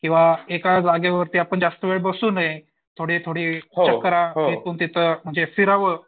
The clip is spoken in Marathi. किंवा एका जागेवरती आपण जास्त वेळ बसू नये. थोडी थोडी चकरा म्हणजे तिथून फिरावं.